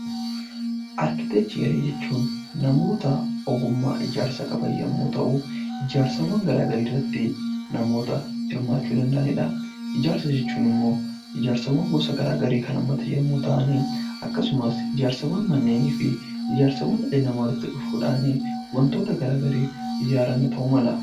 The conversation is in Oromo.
Arkiteekcharii jechuun namoota ogummaa ijaarsaa qaban yommuu ta'u, ijaarsawwan garaa garii irratti namoota hirmaachuu danda'anidha. Ijaarsa jechuun immoo ijaarsawwan gosa garaa garii kan hammatu yommuu ta'an, ijaarsawwan manneenii fi ijaarsawwan walitti dhufuudhaan wantoota garaa gariif ijaarame ta'uu mala.